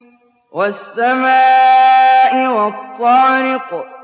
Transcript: وَالسَّمَاءِ وَالطَّارِقِ